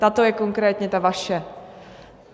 Tato je konkrétně ta vaše.